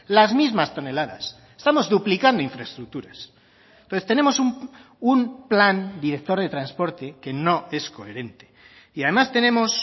las mismas toneladas estamos duplicando infraestructuras entonces tenemos un plan director de transporte que no es coherente y además tenemos